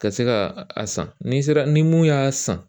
Ka se ka a san n'i sera ni mun y'a san